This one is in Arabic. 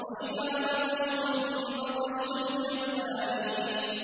وَإِذَا بَطَشْتُم بَطَشْتُمْ جَبَّارِينَ